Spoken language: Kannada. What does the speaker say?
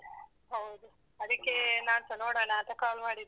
ಹೌದು. ಅದಿಕ್ಕೇ ನಾನ್ಸ ನೋಡೋಣಾಂತ call ಮಾಡಿದ್ದು.